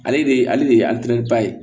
Ale de ale de ye ba ye